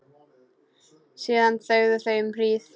Síðan þögðu þau um hríð.